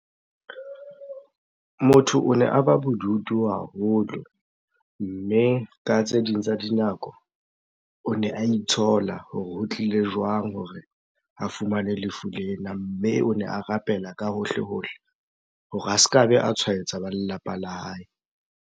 Motho o ne a ba bodutu haholo mme ka tse ding tsa dinako, o ne a itshola hore ho tlile jwang hore a fumane lefu lena? Mme o ne a rapela ka hohle-hohle hore a ska be a tshwaetsa ba lelapa la hae.